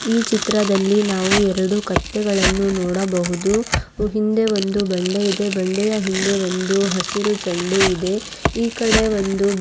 ಈ ಚಿತ್ರದಲ್ಲಿ ನಾವು ಎರಡು ಕತ್ತೆಗಳನ್ನು ನೋಡಬಹುದು ಈ ಹಿಂದೆ ಒಂದು ಬಂಡೆ ಇದೆ ಬಂಡೆಯ ಹಿಂದೆ ಒಂದು ಹಸಿರು ಚೆಂಡು ಇದೆ ಈ ಕಡೆ ಒಂದು--